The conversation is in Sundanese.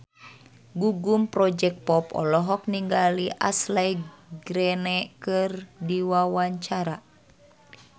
Gugum Project Pop olohok ningali Ashley Greene keur diwawancara